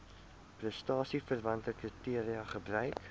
prestasieverwante kriteria gebruik